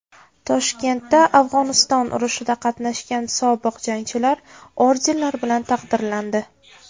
Toshkentda Afg‘oniston urushida qatnashgan sobiq jangchilar ordenlar bilan taqdirlandi.